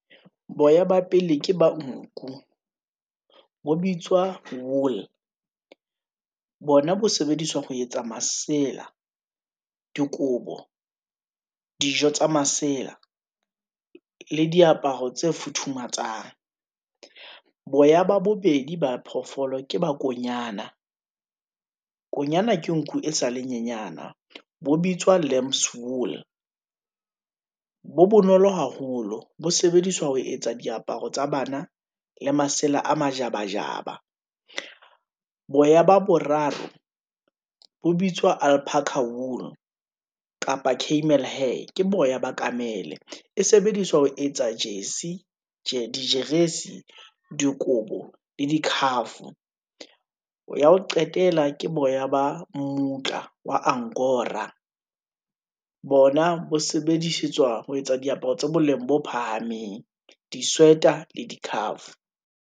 Boya ba pele ke ba nku, bo bitswa wool, bona bo sebediswa ho etsa masela, dikobo, dijo tsa masela, le diaparo tse futhumatsang. Boya ba bobedi ba phoofolo ke ba konyana, konyana ke nku e sale nyenyana, bo bitswa lambs wool, bo bonolo haholo, bo sebediswa ho etsa diaparo tsa bana, le masela a majabajaba. Boya ba boraro bo bitswa ulparker wool, kapa kamel hair, ke boya ba kamel-e, e sebediswa ho etsa jessie , dijeresi, dikobo le dikhafo, ya ho qetela ke boya ba mmutla wa angora, bona bo sebedisetswa ho etsa diaparo tse boleng bo phahameng, disweater le dikhafo.